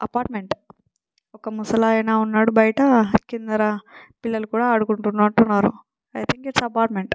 Apartment వక ముసలాయన ఉన్నాడు బయట కిందరా పిలలు కూడా అడుకుంటునట్టునారు ఐ తింగ్ ఇట్స్ అపార్ట్‌మెంట్ .